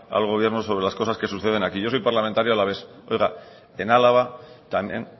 al gobierno sobre las cosas que suceden aquí yo soy parlamentario alavés oiga en álava también